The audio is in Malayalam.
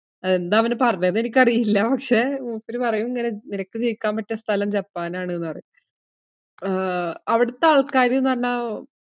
എന്താ അവന് പറഞ്ഞേന്ന് എനിക്കറിയില്ല. പക്ഷേ മൂപ്പര് പറയും ഇങ്ങന നിനക്ക് ജീവിക്കാൻ പറ്റിയ സ്ഥലം ജപ്പാനാണ്ന്ന് പറയും. ആഹ് അവിടത്തെ ആൾക്കാര് എന്ന് പറഞ്ഞാ അഹ്